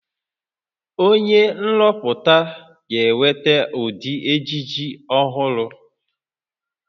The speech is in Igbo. Onye nrụpụta ga-eweta ụdị ejiji ọhụrụ